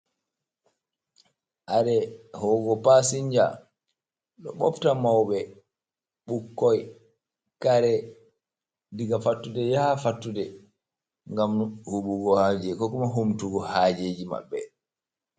Areʼ ho'ugo pasinja ɗo ɓofta mauɓe, ɓukkoi, kare diga fattude yaha fattude ngam huɓugo haaje ko kuma humtugo hajeji maɓɓe.